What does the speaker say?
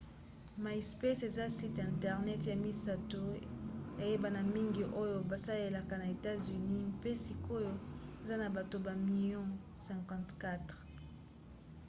myspace eza site internet ya misato eyebana mingi oyo basalelaka na etats-unis mpe sikoyo eza na bato bamilio 54